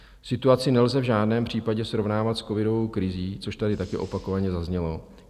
Situaci nelze v žádném případě srovnávat s covidovou krizí, což tady taky opakovaně zaznělo.